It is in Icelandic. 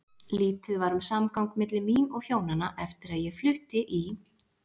Lítið var um samgang milli mín og Hjónanna eftir að ég flutti í